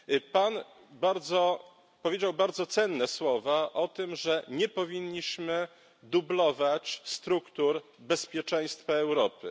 Pan powiedział bardzo cenne słowa o tym, że nie powinniśmy dublować struktur bezpieczeństwa Europy.